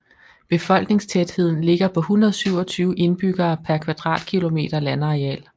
Befolkningstætheden ligger på 127 indbyggere per kvadratkilometer landareal